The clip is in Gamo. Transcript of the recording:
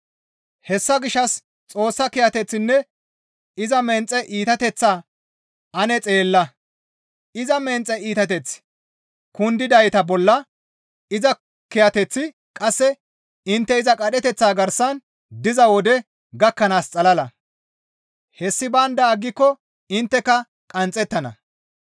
Hessa gishshas Xoossa kiyateththinne iza menxe iitateththaa ane xeella; iza menxe iitateththi kundidayta bolla; iza kiyateththi qasse intte iza qadheteththa garsan diza wode gakkanaas xalala; hessi baynda aggiko intteka qanxxettana.